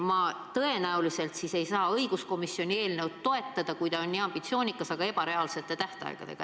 Ma tõenäoliselt ei saa siis õiguskomisjoni eelnõu toetada, kui ta on nii ambitsioonikas, aga ebareaalsete tähtaegadega.